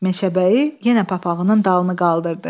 Meşəbəyi yenə papağının dalını qaldırdı.